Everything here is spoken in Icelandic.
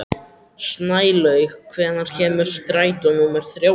Snælaug, hvenær kemur strætó númer þrjátíu og níu?